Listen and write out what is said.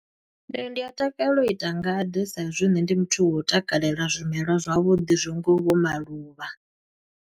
Nṋe ndi a takalela u ita ngade sa i zwi nṋe ndi muthu wo u takalela zwimelwa zwavhuḓi zwi ngaho vho maluvha.